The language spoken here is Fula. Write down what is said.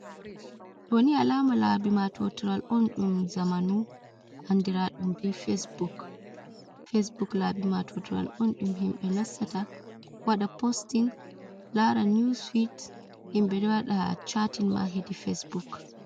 Doni alama labi matotiral on dum zamanu andiraɗum be facebook. Facebok labi ma totiral on ɗum himɓe nasta wada posting, lara news swet, himɓe ɗowada chatin ma hedi Facebook.